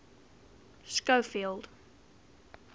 schofield